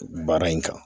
Baara in kan